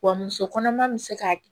Wa muso kɔnɔma bɛ se k'a